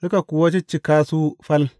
Suka kuwa ciccika su fal.